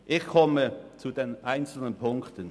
Ich komme zu den einzelnen Punkten.